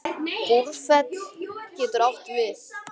Búrfell getur átt við